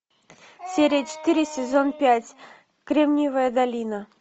серия четыре сезон пять кремниевая долина